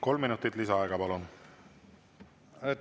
Kolm minutit lisaaega, palun!